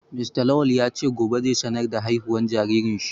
Mr Lawal ya ce gobe zai sanar da haihuwar jaririn shi